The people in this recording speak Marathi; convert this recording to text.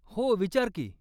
हो, विचार की.